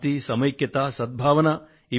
శాంతి సమైక్యత సద్భావన